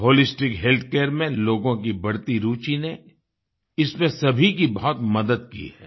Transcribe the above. holistic healthcare में लोगों की बढ़ती रुचि ने इसमें सभी की बहुत मदद की है